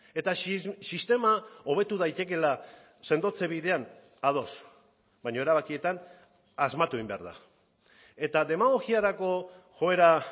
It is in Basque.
eta sistema hobetu daitekeela sendotze bidean ados baina erabakietan asmatu egin behar da eta demagogiarako joera